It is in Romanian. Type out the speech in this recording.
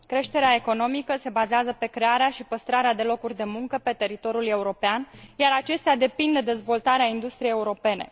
Creșterea economică se bazează pe crearea și păstrarea de locuri de muncă pe teritoriul european, iar acestea depind de dezvoltarea industriei europene.